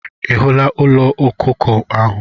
Ị hụla ụlọ ọkụkọ ahụ?